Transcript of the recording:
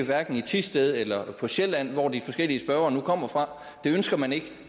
hverken i thisted eller på sjælland hvor de forskellige spørgere nu kommer fra det ønsker man ikke